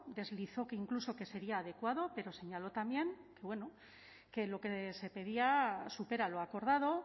deslizó que incluso que sería adecuado pero señaló también que bueno que lo que se pedía supera lo acordado